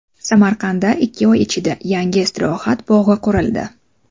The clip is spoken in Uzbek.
Samarqandda ikki oy ichida yangi istirohat bog‘i qurildi.